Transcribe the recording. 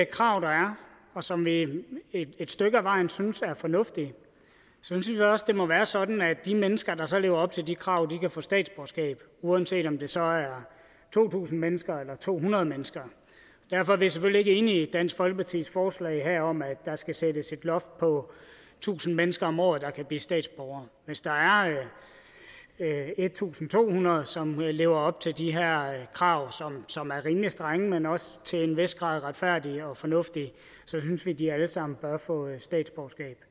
krav der er og som vi et stykke ad vejen synes er fornuftige synes vi også at det må være sådan at de mennesker der så lever op til de krav kan få statsborgerskab uanset om det så er to tusind mennesker eller to hundrede mennesker derfor er vi selvfølgelig ikke enige i dansk folkepartis forslag om at der skal sættes et loft på tusind mennesker om året der kan blive statsborgere hvis der er en tusind to hundrede mennesker som lever op til de her krav som er rimelig strenge men også til en vis grad retfærdige og fornuftige synes vi at de alle sammen bør få statsborgerskab